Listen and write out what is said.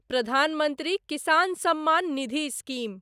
Pradhan Mantri Kisan Samman Nidhi scheme